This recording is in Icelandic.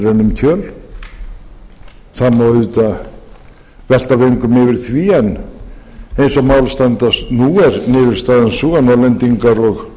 um kjöl það má auðvitað velta vöngum yfir því en eins og mál standast nú er niðurstaðan sú að norðlendingar og